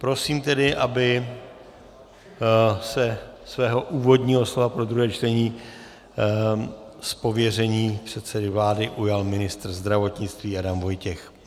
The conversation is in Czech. Prosím tedy, aby se svého úvodního slova pro druhé čtení z pověření předsedy vlády ujal ministr zdravotnictví Adam Vojtěch.